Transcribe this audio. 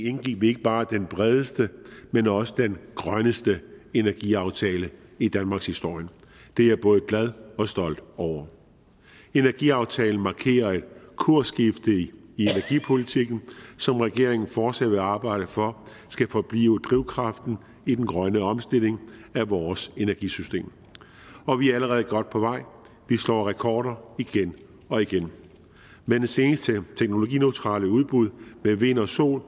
indgik vi ikke bare den bredeste men også den grønneste energiaftale i danmarkshistorien og det er jeg både glad og stolt over energiaftalen markerer et kursskifte i energipolitikken som regeringen fortsat vil arbejde for skal forblive drivkraften i den grønne omstilling af vores energisystem og vi er allerede godt på vej vi slår rekorder igen og igen med det seneste teknologineutralt udbud af vind og sol